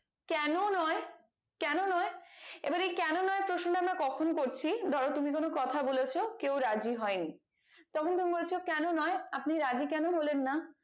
কেন নয় কেন নয় এবার এই কেন নয় প্রশ্নটা আমরা কখন করছি ধরো তুমি কোনো কথা বলেছো কেও রাজি হয়নি তখন তুমি বলছো কেন নয় আপনি রাজি কেন হলেন না